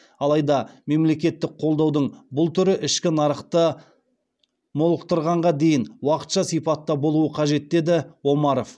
алайда мемлекеттік қолдаудың бұл түрі ішкі нарықты молықтырғанға дейін уақытша сипатта болуы қажет деді омаров